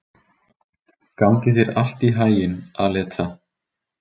Gangi þér allt í haginn, Aleta.